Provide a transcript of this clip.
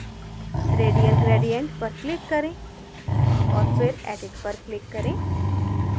radial gradient पर click करें औऱ फिर edit पर click करें